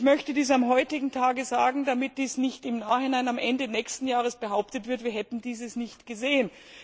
Ich möchte dies am heutigen Tag sagen, damit nicht im Nachhinein am Ende nächsten Jahres behauptet wird, wir hätten dies nicht gesehen.